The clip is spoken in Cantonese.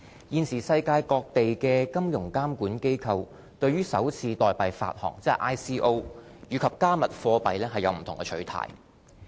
現時世界各地的金融監管機構對首次代幣發行和"加密貨幣"有不同的取態。